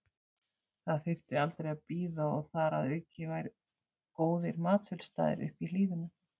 Það þyrfti aldrei að bíða og þar að auki væru góðir matsölustaðir uppi í hlíðunum.